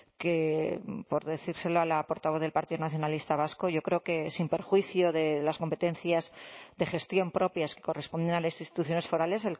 que por decírselo a la portavoz del partido nacionalista vasco yo creo que sin perjuicio de las competencias de gestión propias que corresponden a las instituciones forales